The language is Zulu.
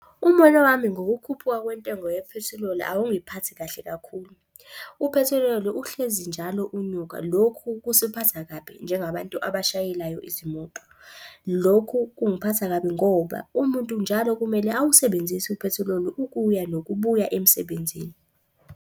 Umbono wami ngokukhuphuka kwentengo yaphethiloli, akungiphathi kahle kakhulu. Uphethiloli uhlezi njalo unyuka, lokhu kusiphatha kabi njengabantu abashayelayo izimoto. Lokhu kungiphatha kabi ngoba umuntu njalo kumele awusebenzise uphethiloli ukuya nokubuya emsebenzini.